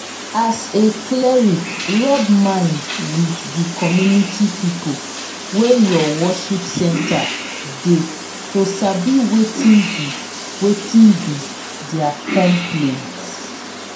as a cleric rub mind with di community pipo wey your worship center dey to sabi wetin be wetin be their complaints